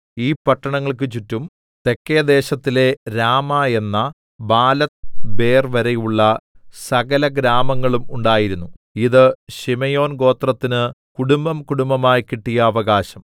ഈ പട്ടണങ്ങൾക്ക് ചുറ്റും തെക്കെദേശത്തിലെ രാമ എന്ന ബാലത്ത്ബേർ വരെയുള്ള സകലഗ്രാമങ്ങളും ഉണ്ടായിരുന്നു ഇത് ശിമെയോൻ ഗോത്രത്തിന് കുടുംബംകുടുംബമായി കിട്ടിയ അവകാശം